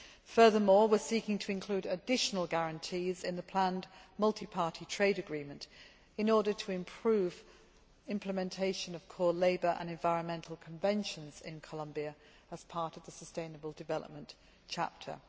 Furthermore, we are seeking to include additional guarantees in the planned multiparty trade agreement in order to improve implementation of core labour and environmental conventions in Colombia as part of the Sustainable Development Chapter.